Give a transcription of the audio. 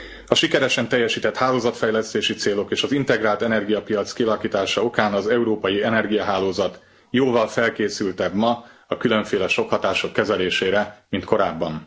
A sikeresen teljesített hálózatfejlesztési célok és az integrált energiapiac kialakítása okán az európai energiahálózat jóval felkészültebb ma a különféle sokkhatások kezelésére, mint korábban.